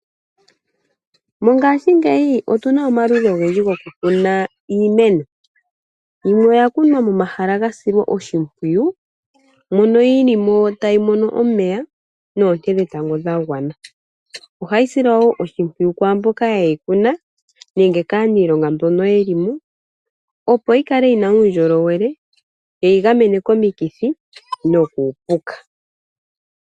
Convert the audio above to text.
Mongaashingeyi otuna omaludhi ogendji goku kuna iimeno. Yimwe oya kunwa momahala ga silwa oshimpwiyu mono yilimo tayi mono omeya noonte dhetango dhagwana. Ohayi silwa woo oshimpwiyu kwaamboka yeyi kuna nenge kaaniilonga mbono yeli mo opo yikale yina uundjolowele yeyi gamene komikithi nokuupuka.